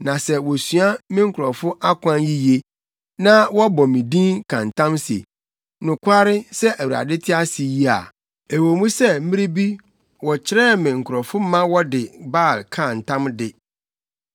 Na sɛ wosua me nkurɔfo akwan yiye na wɔbɔ me din ka ntam se, ‘Nokware sɛ Awurade te ase yi’ a, ɛwɔ mu sɛ mmere bi wɔkyerɛɛ me nkurɔfo ma wɔde Baal kaa ntam de, nanso wɔn ase betim wɔ me nkurɔfo mu.